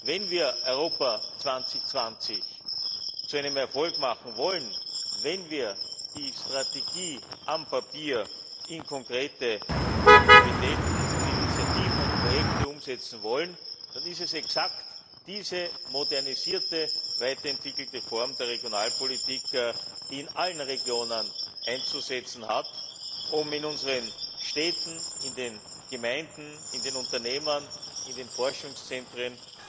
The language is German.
Wenn wir Europa 2020 zu einem Erfolg machen wollen, wenn wir die auf dem Papier stehende Strategie in konkrete Aktivitäten, Initiativen und Projekte umsetzen wollen, dann ist es exakt diese modernisierte, weiterentwickelte Form der Regionalpolitik, die in allen Regionen einzusetzen hat, um in unseren Städten, in den Gemeinden, in den Unternehmen, in den Forschungszentren